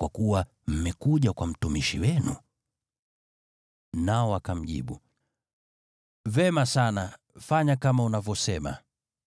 kwa kuwa mmekuja kwa mtumishi wenu.” Nao wakamjibu, “Vema sana, fanya kama unavyosema.”